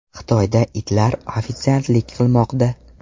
Xitoyda itlar ofitsiantlik qilmoqda .